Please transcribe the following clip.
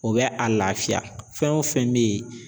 O bɛ a lafiya fɛn o fɛn me yen